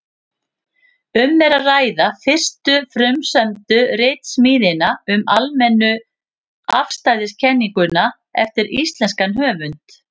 Um er að ræða fyrstu frumsömdu ritsmíðina um almennu afstæðiskenninguna eftir íslenskan höfund.